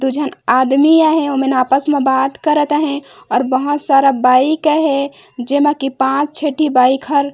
दो झन आदमी आहे ओमन आपस में बात करत आहे और बहोत सारा बाइक अहे जेमा की पांच छेटी बाइक हर --